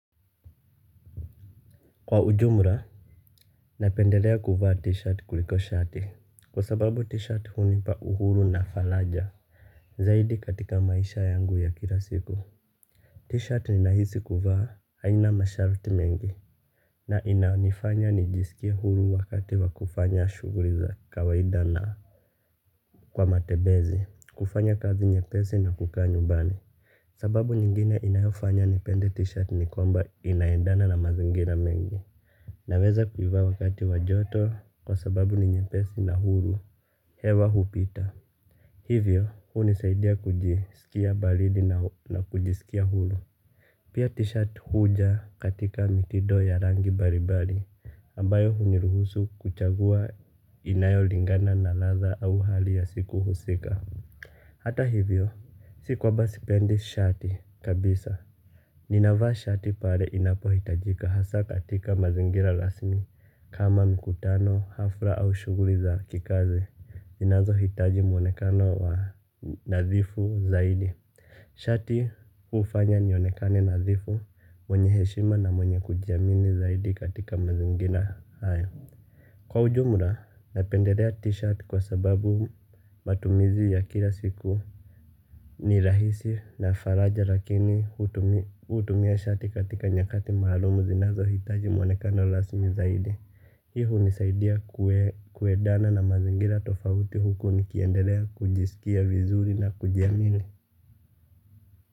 Kwa ujumra, napendelea kuvaa t-shirt kuliko shati, kwa sababu t-shirt hunipa uhuru na falaja, zaidi katika maisha yangu ya kila siku. T-shirt ninahisi kuvaa haina masharti mengi. Na inaonifanya nijiskie huru wakati wa kufanya shuguli za kawaida na kwa matebezi. Kufanya kazi nyepezi na kukaa nyumbani. Sababu nyingine inayofanya nipende t-shirt ni kwamba inaendana na mazingina mengi. Naweza kuivaa wakati wa joto kwa sababu ni nyempesi na huru, hewa hupita. Hivyo, hunisaidia kujisikia balidi na kujisikia huru. Pia t-shirt huja katika mitido ya rangi mbali mbali, ambayo huniruhusu kuchagua inayo lingana na ladha au hali ya siku husika. Hata hivyo, si kwamba sipendi shati kabisa, ninavaa shati pale inapo hitajika hasa katika mazingira rasmi kama mkutano hafla au shuguli za kikazi inazo hitaji mwonekano wa nadhifu zaidi. Shati ufanya nionekane nadhifu, mwenye heshima na mwenye kujiamini zaidi katika mazingira haya. Kwa ujumla, napendelea t-shirt kwa sababu matumizi ya kila siku ni rahisi na faraja lakini hutumia shati katika nyakati maalum zinazo hitaji mwanekano rasmi zaidi. Hio hunisaidai kuedana na mazingira tofauti huku nikiendelea kujisikia vizuri na kujiamili.